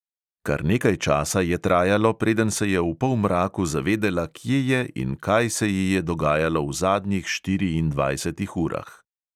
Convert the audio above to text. Kar nekaj časa je trajalo, preden se je v polmraku zavedela, kje je in kaj se ji je dogajalo v zadnjih štiriindvajsetih urah.